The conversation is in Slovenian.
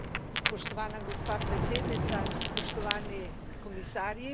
Spoštovana gospa predsednica, spoštovani komisarji.